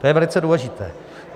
To je velice důležité.